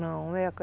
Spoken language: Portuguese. Não,